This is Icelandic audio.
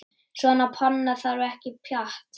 Svona panna þarf ekkert pjatt.